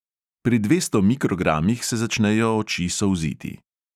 Pri dvesto mikrogramih se začnejo oči solziti.